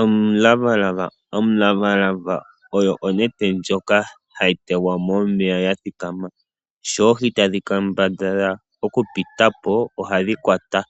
Omulavalava, omulavalava oyo onete ndjoka hayi tegwa momeya yathikama sho oohi tadhi kambadhala okupita po ohadhi kwatwa .